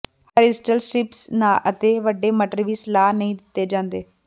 horizontal strips ਅਤੇ ਵੱਡੇ ਮਟਰ ਵੀ ਸਲਾਹ ਨਹੀਂ ਦਿੱਤੇ ਜਾਂਦੇ